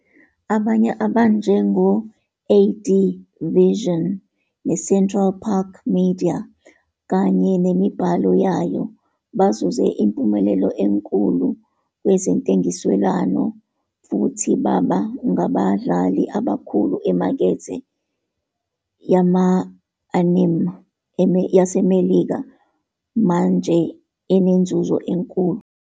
Abanye, abanjengo- AD Vision, neCentral Park Media kanye nemibhalo yayo, bazuze impumelelo enkulu kwezentengiselwano futhi baba ngabadlali abakhulu emakethe yama-anime yaseMelika manje enenzuzo enkulu.